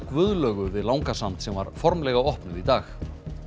Guðlaugu við Langasand sem var formlega opnuð í dag